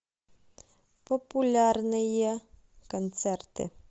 популярные концерты